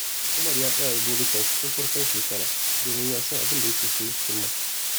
Umar ya tsara burikansa tun farkon shekara domin ya san abin da yake son cimma.